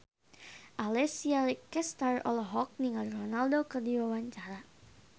Alessia Cestaro olohok ningali Ronaldo keur diwawancara